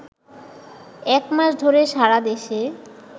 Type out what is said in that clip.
একমাস ধরে সারাদেশে